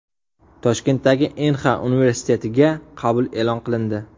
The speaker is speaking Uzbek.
Toshkentdagi Inxa universitetiga qabul e’lon qilindi.